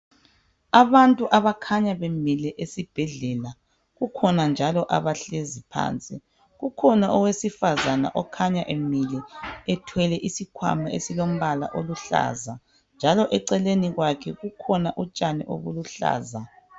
Abantu abakhanya bemile esibhedlela kukhona njalo abahlezi phansi kukhona owesifazane okhanya emile ethwele isikhwama esilo mbala oluhlaza njalo eceleni kwakhe kukhona utshani obuluhlaza .